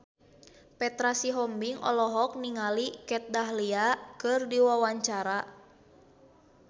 Petra Sihombing olohok ningali Kat Dahlia keur diwawancara